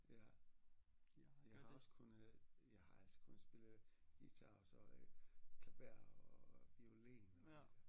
Ja jeg har også kunne jeg har også kunne spille guitar og så øh klaver og violin og det